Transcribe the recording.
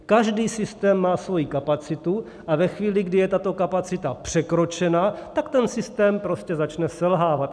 Každý systém má svoji kapacitu a ve chvíli, kdy je tato kapacita překročena, tak ten systém prostě začne selhávat.